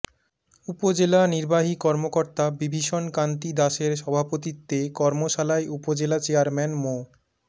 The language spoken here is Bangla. উপজেলা নির্বাহী কর্মকর্তা বিভীষণ কান্তি দাশের সভাপতিত্বে কর্মশালায় উপজেলা চেয়ারম্যান মো